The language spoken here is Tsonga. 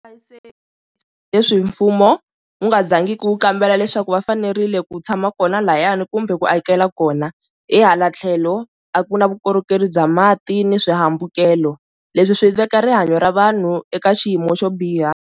A yi se leswi mfumo wu nga zangi ku kambela leswaku va fanerile ku tshama kona lahayani kumbe ku akela kona, hi hala tlhelo a ku na vukorhokeri bya mati ni swihambukelo leswi swi veka rihanyo ra vanhu eka xiyimo xo biha.